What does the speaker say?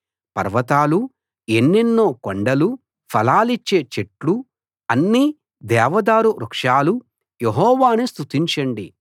పర్వతాలూ ఎన్నెన్నో కొండలూ ఫలాలిచ్చే చెట్లూ అన్ని దేవదారు వృక్షాలూ యెహోవాను స్తుతించండి